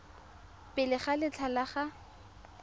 pele ga letlha la go